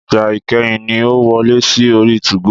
Ìgbà ìkẹyìn ni o wọlé sí orí 2go